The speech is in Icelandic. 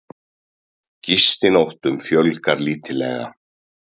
Gistinóttum fjölgar lítillega